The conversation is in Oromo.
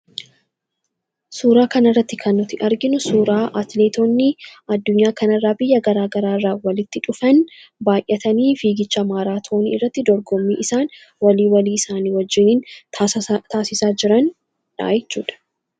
Suuraa kana irratti kan nuti arginu suuraa atileetonni addunyaa kana irraa, biyya garaa garaa irraa walitti dhufan baay'atanii fiigicha maaraatoonii irratti dorgommii isaan walii walii isaanii wajjiniin taasisaa jiraniidha jechuudha.